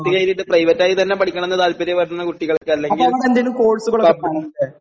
പത്ത് കഴിഞ്ഞിട്ട് പ്രൈവറ്റ് ആയി തന്നെ പഠിക്കണംന്ന് താല്പര്യം വരുന്ന കുട്ടികൾക്ക് അല്ലെങ്കിൽ